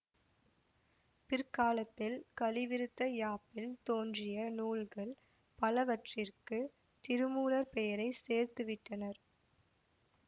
பிற்காலத்தில் கலிவிருத்த யாப்பில் தோன்றிய நூல்கள் பலவற்றிற்குத் திருமூலர் பெயரை சேர்த்துவிட்டனர்